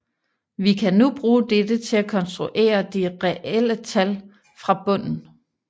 Vi kan nu bruge dette til at konstruere de relle tal fra bunden